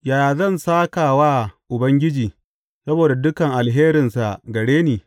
Yaya zan sāka wa Ubangiji saboda dukan alherinsa gare ni?